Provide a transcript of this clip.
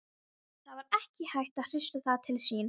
Það var ekki hægt að hrifsa það til sín.